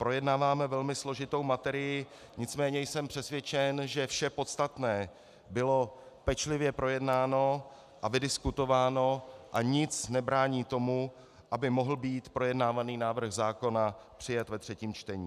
Projednáváme velmi složitou materii, nicméně jsem přesvědčen, že vše podstatné bylo pečlivě projednáno a vydiskutováno a nic nebrání tomu, aby mohl být projednávaný návrh zákona přijat ve třetím čtení.